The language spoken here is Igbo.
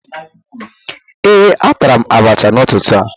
ee, atara m abacha n'ụtụtụ a